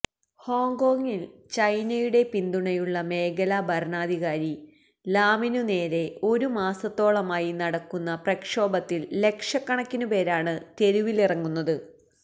ഹോങ്കോങ്ങിൽ ചൈനയുടെ പിന്തുണയുള്ള മേഖലാ ഭരണാധികാരി കാരി ലാമിനുനേരെ ഒരു മാസത്തോളമായി നടക്കുന്ന പ്രക്ഷോഭത്തിൽ ലക്ഷക്കണക്കിനുപേരാണ് തെരുവിലിറങ്ങുന്നത്